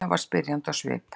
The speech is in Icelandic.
Lilla var spyrjandi á svip.